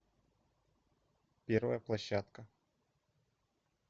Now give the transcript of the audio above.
первая площадка